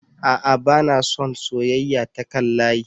A'a bana son soyeyya ta kan layi